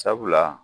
Sabula